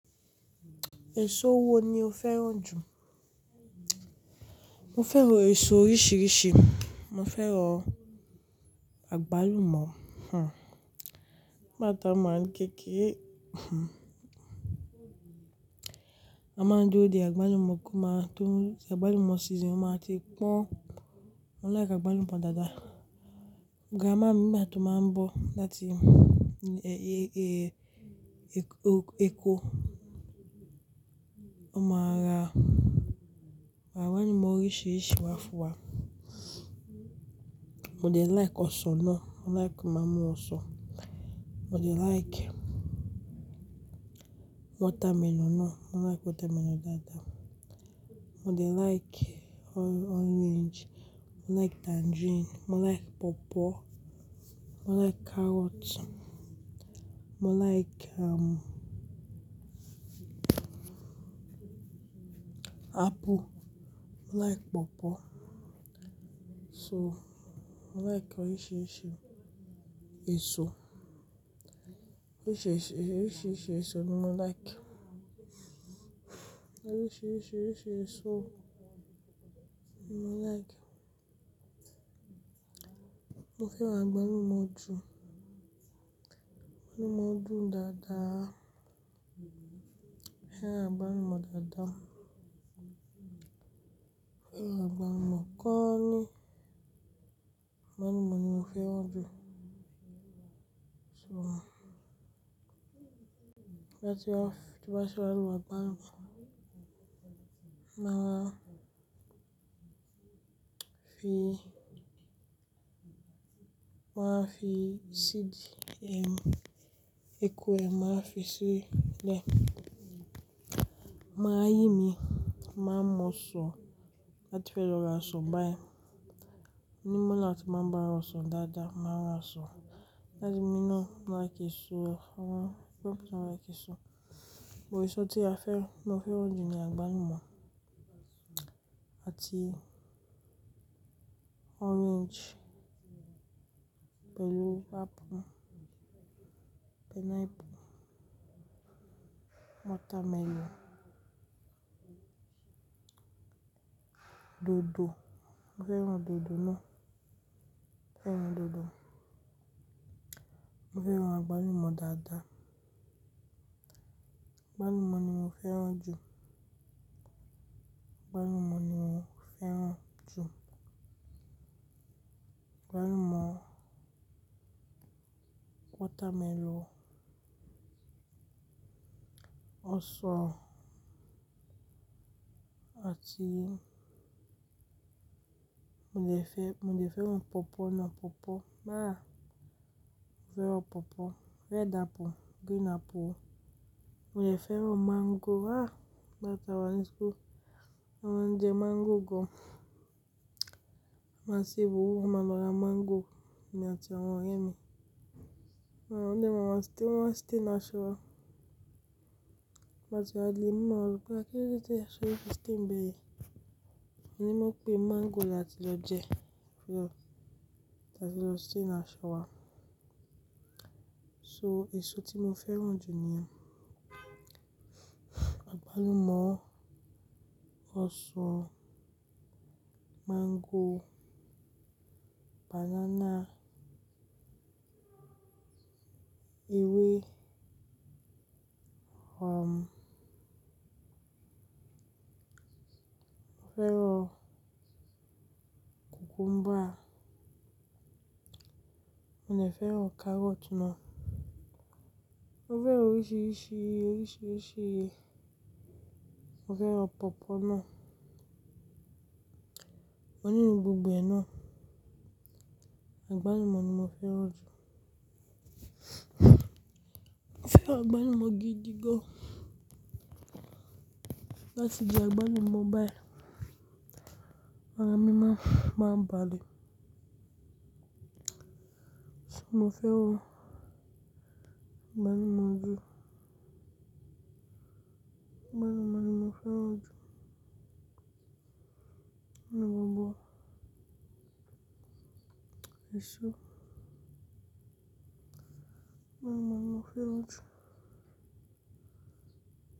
Èso wo ni o fẹ́ràn jù? Mo fẹ́ràn èso oríṣiríṣi. Mo fẹ́ràn àgbálùmọ́, hmm. Ngbà ta kékeré, hmm. A máa ń dúró de àgbálùmọ́ kan, máa tún àgbálùmọ́ sísinu, máa ti pọ́n. Mo like àgbálùmọ́ dáadáa. Gaama mi, bàtà máa ń bọ́ láti e-e-e ko. Mo máa ra, màá wá ní ìmọ̀ oríṣiríṣi wá fún wa. Mo dẹ̀ like ọsàn náà, mo like máa mú ọsàn. Mo dẹ̀ like wọ́támẹlọ̀n náà, mo like wọ́támẹlọ̀n dáadáa. Mo dẹ̀ like o-orange, mo like tangerine, mo like pọ̀pọ́, mo like carrot, mo like, um, apple, mo like pọ̀pọ́. So, mo like oríṣiríṣi èso. Oríṣiríṣi, oríṣiríṣi èso ni mo like. Oríṣiríṣi, oríṣiríṣi èso ni mo like. Mo fẹ́ràn àgbálùmọ́ jù. Àgbálùmọ́ dùn dáadáa. Mo fẹ́ràn àgbálùmọ́ dáadáa. Mo fẹ́ràn àgbálùmọ́ gan-an ni. Àgbálùmọ́ ni mo fẹ́ràn jù. So, tí bá tí a, tí n bá ti ra àgbálùmọ́, máa fi, máa fi seedu ẹm, ekwe máa fi sílẹ̀. Máa yí mi, máa mú ọsàn láti fẹ́ lọ ra ọsàn báyìí. Ní mọ́là tí máa bá ra ọsàn dáadáa, máa ra ọsàn láti mi náà. Mo like èso, àwọn, gbogbo àwọn èso. Èso tí a fẹ́, mo fẹ́ràn jù ni àgbálùmọ́ àti orange pẹ̀lú apple, pineapple, watermelon, dòdò. Mo fẹ́ràn dòdò náà. Mo fẹ́ràn dòdò. Mo fẹ́ràn àgbálùmọ́ dáadáa. Àgbálùmọ́ ni mo fẹ́ràn jù. Àgbálùmọ́ ni mo fẹ́ràn jù. Àgbálùmọ́, watermelon, ọsàn àti mo dé fẹ́, mo dé fẹ́ràn pọ̀pọ́ náà, pọ̀pọ́ máa. Mo fẹ́ràn pọ̀pọ́. Mo fẹ́ràn apple, green apple. Mo dé fẹ́ràn mango. Ah! Ngbà ta wá ní ìṣkú. Wọ́n jẹ mango gan. Ma sì burú, máa lọ ra mango èmi ati awọ́n rẹ́ mi. Wọ́n ń jẹ́, màá ń sté, wọ́n máa sté in aṣọ wa. Bàtà wá le mú ọlọ́pàá kí ó tẹ́ aṣọ yìí sté ńbẹ̀ yìí. Mo ní mo pé mango láti lọ jẹ́, ó fi lọ, láti lọ sté in aṣọ wa. So, èso tí mo fẹ́ràn jù ni àgbálùmọ́, ọsàn, mango, banana, ewé, um, mo fẹ́ràn cucumber. Mo dé fẹ́ràn carrot náà. Mo fẹ́ràn oríṣiríṣi, oríṣiríṣi. Mo fẹ́ràn pọ̀pọ́ náà. Mo ní gbogbo ẹ náà. Àgbálùmọ́ ni mo fẹ́ràn jù. Mo fẹ́ràn àgbálùmọ́ gidi gan. Bá ti di àgbálùmọ́ bai, màá mímọ́, máa ń balé. So, mo fẹ́ràn àgbálùmọ́ jù. Àgbálùmọ́ ni mo fẹ́ràn jù. Mo ní gbogbo èso. Àgbálùmọ́ ni mo fẹ́ràn jù.